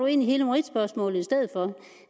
ind i hele meritspørgsmålet i stedet for